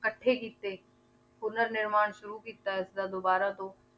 ਇਕੱਠੇ ਕੀਤੇ ਪੁਨਰ ਨਿਰਮਾਣ ਸ਼ੁਰੂ ਕੀਤਾ ਇਸਦਾ ਦੁਬਾਰਾ ਤੋਂ